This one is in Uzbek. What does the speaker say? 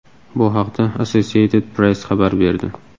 Bu haqda Associated Press xabar berdi .